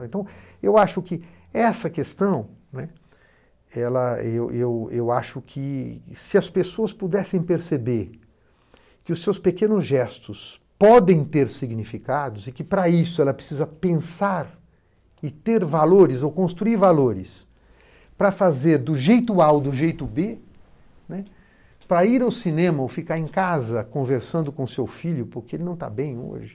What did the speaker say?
Então, eu acho que essa questão, né, ela eu eu eu acho que se as pessoas pudessem perceber que os seus pequenos gestos podem ter significados e que para isso ela precisa pensar e ter valores ou construir valores para fazer do jeito Áou do jeito Bê, né, para ir ao cinema ou ficar em casa conversando com seu filho porque ele não está bem hoje,